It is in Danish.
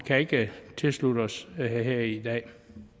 kan ikke tilslutte os det her i dag